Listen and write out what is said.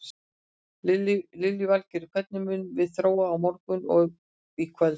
Lillý Valgerður: Hvernig mun svo þróast á morgun og í kvöld?